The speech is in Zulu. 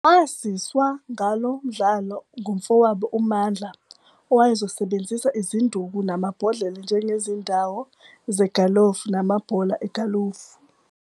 Waziswa ngalo mdlalo ngumfowabo uMandla owayezosebenzisa izinduku namabhodlela njengezindawo zegalufu namabhola egalufu.